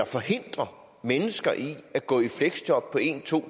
forhindre mennesker i at gå i fleksjob på en to